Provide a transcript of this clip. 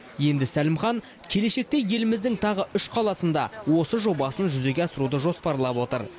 енді сәлімхан келешекте еліміздің тағы үш қаласында осы жобасын жүзеге асыруды жоспарлап отыр